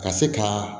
Ka se ka